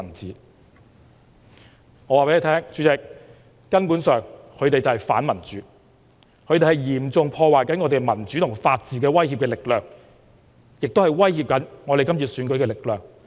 主席，我可以告訴大家，他們根本就是反民主，是嚴重破壞香港民主法治的威脅力量，也是正在威脅今次選舉的力量。